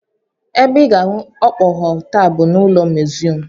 Ebe ị ga-ahụ okpogho taa bụ n'ụlọ museum